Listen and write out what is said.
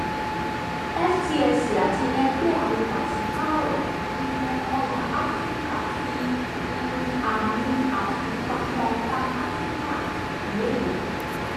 ftse àti ẹgbẹ àwọn pasipaaro um ọjà afiríka fi um àmì àfipamọ panafrican lede